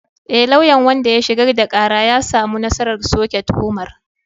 E, lauyan wanda ya shigar da kara ya samu nasarar soke tuhumar.